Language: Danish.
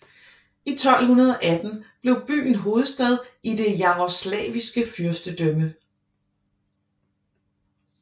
I 1218 blev byen hovedstad i det Jarosvlaviske fyrstedømme